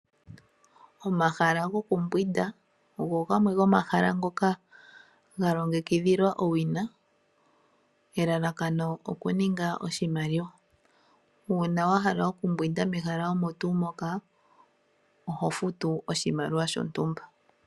Omahala gokumbwinda ogo gamwe go momahala ngoka ga longekidhilwa owina elalakano okuninga oshimaliwa. Uuna wahala okumbwinda mehala omo tuu moka oho futu oshimaliwa shontumba.